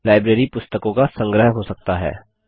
library पुस्तकों का संग्रह हो सकता है